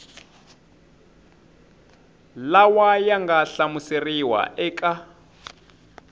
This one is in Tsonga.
lawa ya nga hlamuseriwa eka